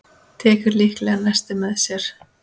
Tekur líklega nesti með sér.